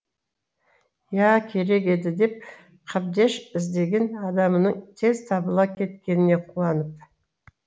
иә керек еді деп қабдеш іздеген адамының тез табыла кеткеніне қуанып